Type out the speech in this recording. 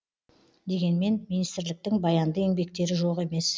дегенмен министрліктің баянды еңбектері жоқ емес